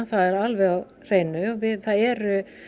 það er alveg á hreinu það eru